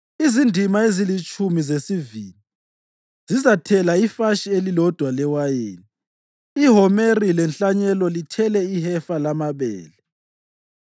Izindima ezilitshumi zesivini zizathela ifatshi elilodwa lewayini, ihomeri lenhlanyelo lithele ihefa lamabele.”